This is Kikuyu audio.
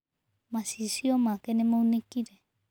Macicio make nĩmaunĩkire.